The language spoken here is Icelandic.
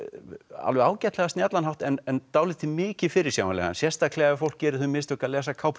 alveg ágætlega snjallan hátt en dálítið mikið fyrirsjáanlegan sérstaklega ef fólk gerir þau mistök að lesa